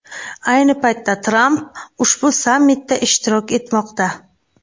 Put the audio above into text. Ayni paytda Tramp ushbu sammitda ishtirok etmoqda.